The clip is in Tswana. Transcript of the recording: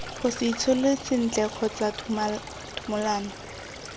gose itshole sentle kgotsa thumolano